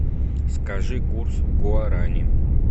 скажи курс гуарани